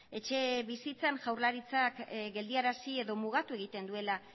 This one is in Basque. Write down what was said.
etxebizitzan jaurlaritzak geldiarazi edo mugatu egiten duela